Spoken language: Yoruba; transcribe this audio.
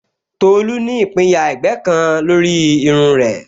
Tolu ní ìpinyà ẹ̀gbẹ́ kan lórí irun rẹ̀